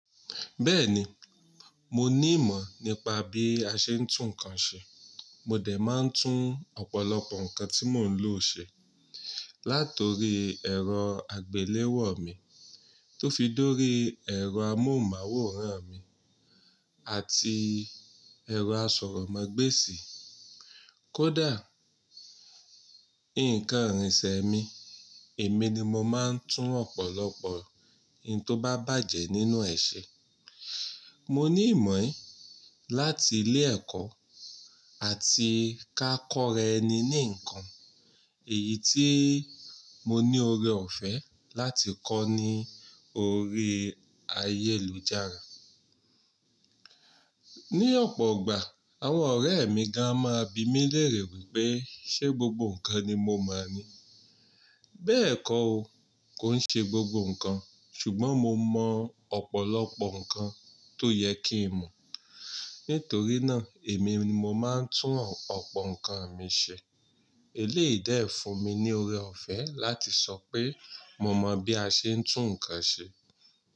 Bẹ́ẹ̀ni, mo ní ìmọ̀ nípa bí a ṣe ń tún nǹkan ṣe. Mo dẹ̀ máa ń tún ọ̀pọ̀lọpọ̀ nǹkan tí mò ń lò ṣe. Látòrí ẹ̀rọ àgbéléwò mi tó fi dórí ẹ̀rọ amóhùnmáwòrán mi àti ẹ̀rọ asọ̀rọ̀mágbèsì. Kódà, nǹkan ìrìnsẹ̀ mi, èmi ni mo máa ń tún ọ̀pọ̀lọpọ̀ ohun tó bá bàjẹ́ nínú ẹ̀ ṣe. Mo ní ìmọ̀ yìí láti ilé ẹ̀kọ́ àti ká kọ́ra ẹni ní nǹkan. Èyí tí mo ní ọrẹ ọ̀fẹ́ láti kọ́ ni orí ayélujára. Ní ọ̀pọ̀ igbà àwọn ọ̀rẹ́ mi gan a máa bi mí lérè wípé ṣé gbogbo nǹkan ni mo mọ̀ ni? Bẹ́ẹ̀kọ́ ó, kò ń ṣe gbogbo nǹkan ṣùgbọ́n mo mọ̀ ọ̀pọ̀lọpọ̀ nǹkan tó yẹ kí n mọ̀. Nítorí náà èmi ni mo máa ń tún ọ̀pọ̀ nǹkan mi ṣe. Eléyìí dẹ̀ fún mi ní ọrẹ ọ̀fẹ́ láti sọ pé mo mọ bí a ṣe ń tún nǹkan ṣe.